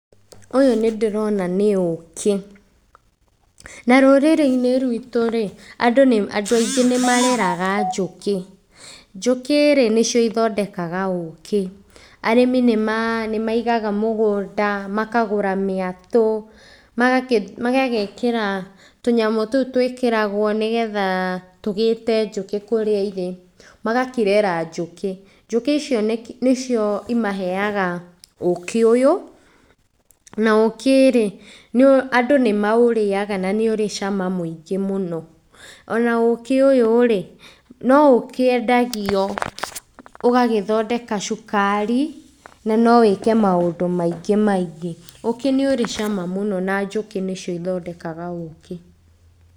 Ũyũ nĩ ndĩrona nĩ ũkĩ. Na rũrĩrĩ-inĩ rwitũ rĩ, andũ aingĩ nĩ mareraga njũkĩ, njũkĩ rĩ, nĩcio cithondekaga ũkĩ. Arĩmi nĩ maigaga mũgũnda, makagũra mĩatũ magagĩkĩra tũnyamũ tũu twĩkĩragwo nĩgetha tũgĩĩte njũkĩ kũrĩa irĩ, magakĩrera njũkĩ. Njũkĩ icio nĩcio imaheaga ũkĩ ũyũ, na ũkĩ rĩ, andũ nĩ maũrĩaga na nĩ ũrĩ cama mũingĩ mũno. Ona ũkĩ ũyũ rĩ, no ũkĩendagio, ũgagĩthondeka cukari na no wĩke maũndũ maingĩ maingĩ. Ũkĩ nĩ ũrĩ cama mũno na njũkĩ nĩcio ithondekaga ũkĩ.